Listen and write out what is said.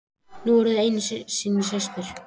Þið eruð nú einu sinni systur.